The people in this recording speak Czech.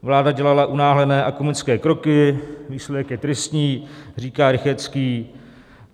Vláda dělala unáhlené a komické kroky, výsledek je tristní, říká Rychetský.